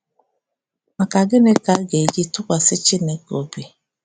Maka gịnị ka a ga-eji tụkwasị Chineke obi?